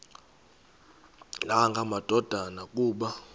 nanga madoda kuba